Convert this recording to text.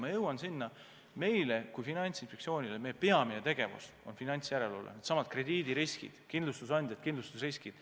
Ma jõuan jälle sinna, et Finantsinspektsiooni peamine tegevus on finantsjärelevalve, needsamad krediidiriskid, kindlustusandjad, kindlustusriskid.